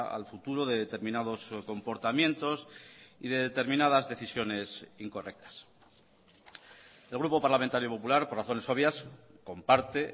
al futuro de determinados comportamientos y de determinadas decisiones incorrectas el grupo parlamentario popular por razones obvias comparte